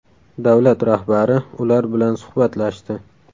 Davlat rahbari ular bilan suhbatlashdi.